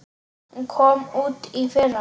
Hún kom út í fyrra.